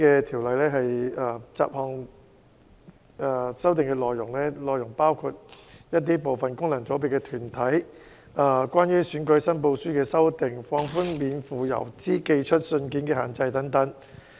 《條例草案》的修訂包括部分功能界別的組成團體、選舉申報書的修正，以及免付郵資投寄的信件的尺碼規定。